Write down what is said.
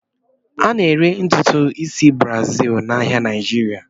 A na-ere ntutu isi Brazil n'ahịa Naịjirịa.